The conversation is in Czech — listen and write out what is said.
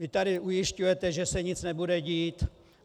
Vy tady ujišťujete, že se nic nebude dít.